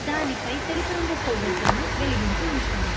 దాని పై తెలుపు రంగు కొవ్వొత్తులను వెలిగించి ఉంచారు.